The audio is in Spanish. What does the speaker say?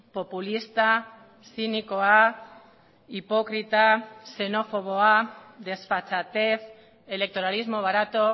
populista zinikoa hipokrita xenofoboa desfachatez electoralismo barato